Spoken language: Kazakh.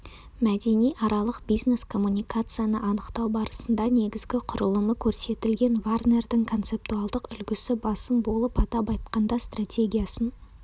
мәдениаралық бизнес-коммуникацияны анықтау барысында негізгі құрылымы көрсетілген варнердің концептуалдық үлгісі басым болып атап айтқанда стратегиясын